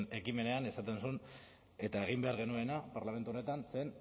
ekimenean esaten zuen eta egin behar genuena parlamentu honetan zen